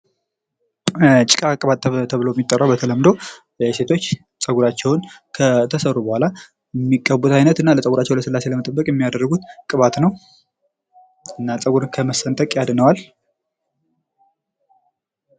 ጭቃ ቅባት ተብሎ የሚጠራው በተለምዶ ሴቶች ፀጉራቸውን ከተሰሩ ቡሀላ የምቀቡት አይነት እና ለፀጉራችው ልስላሴ ለመጠበቅ የሚያደርጉት ቅባት ነው እና ፀጉርን ከመሰንጠቅ ያድነዋል::